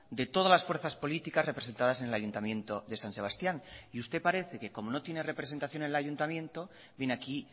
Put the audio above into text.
de todas las fuerzas políticas representadas en el ayuntamiento de san sebastián y usted parece que como no tiene representación en el ayuntamiento viene aquí